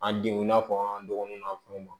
An denw n'a fɔ an dɔgɔninw n'an fɛnw